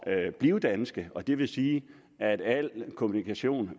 at blive danske og det vil sige at al kommunikation